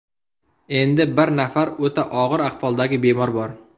Endi bir nafar o‘ta og‘ir ahvoldagi bemor bor.